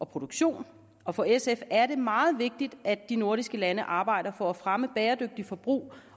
produktion og for sf er det meget vigtigt at de nordiske lande arbejder for at fremme et bæredygtige forbrug